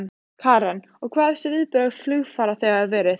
Karen: Og hver hafa viðbrögð flugfarþega verið?